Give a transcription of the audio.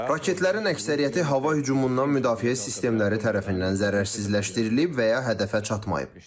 Raketlərin əksəriyyəti hava hücumundan müdafiə sistemləri tərəfindən zərərsizləşdirilib və ya hədəfə çatmayıb.